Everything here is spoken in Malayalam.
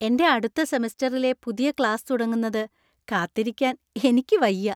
എന്‍റെ അടുത്ത സെമസ്റ്ററിലെ പുതിയ ക്ലാസ് തുടങ്ങുന്നത് കാത്തിരിക്കാൻ എനിക്ക് വയ്യ !